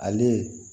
Ale